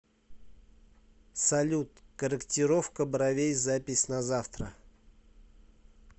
салют корректировка бровей запись на завтра